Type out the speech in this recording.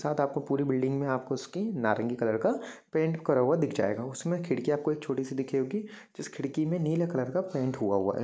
उसके साथ आपको पूरी बिल्डिंग में आपको उसकी नारंगी कलर का पेंट करा हुआ दिख जायेगा उसमे खिड़की आपको एक छोटी सी दिखे गी जिस खिड़की में नीले कलर का पेंट हुआ हुआ है ।